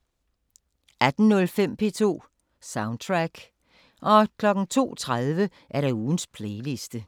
18:05: P2 Soundtrack 02:30: Ugens playliste